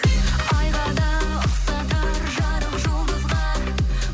айға да ұқсатар жарық жұлдызға